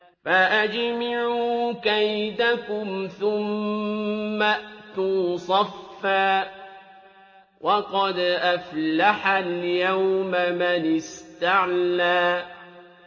فَأَجْمِعُوا كَيْدَكُمْ ثُمَّ ائْتُوا صَفًّا ۚ وَقَدْ أَفْلَحَ الْيَوْمَ مَنِ اسْتَعْلَىٰ